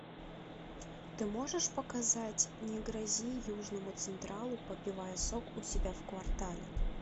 ты можешь показать не грози южному централу попивая сок у себя в квартале